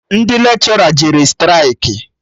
Ndị lekshọra jere straịkị